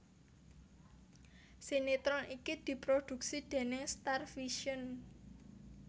Sinetron iki diprodhuksi déning Starvision